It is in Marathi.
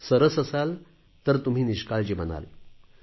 सरस असाल तर तुम्ही निष्काळजी बनाल